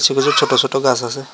নীচে ছোট ছোট গাছ আছে।